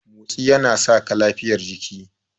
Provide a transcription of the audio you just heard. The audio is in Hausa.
Motsi yana saka lafiyar jiki.